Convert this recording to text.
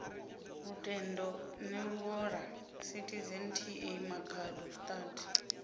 lutendo neluvhola citizen ta makhado stud